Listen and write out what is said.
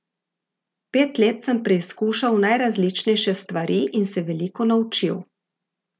Pet let sem preizkušal najrazličnejše stvari in se veliko naučil.